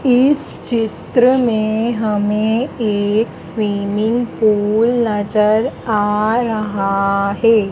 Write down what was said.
इस चित्र में हमें एक स्विमिंग पूल नजर आ रहा है।